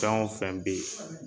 Fɛn o fɛn bɛ yen